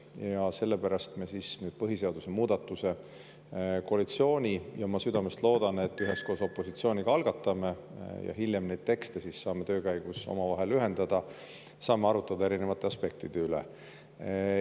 Ja sellepärast me siis nüüd põhiseaduse muutmise koalitsioonis – ja ma südamest loodan, et üheskoos opositsiooniga – algatame ja hiljem saame neid tekste töö käigus omavahel ühendada, saame arutada erinevate aspektide üle.